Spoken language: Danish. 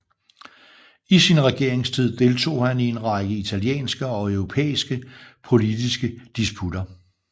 I sin regeringstid deltog han i en række italienske og europæiske politiske disputter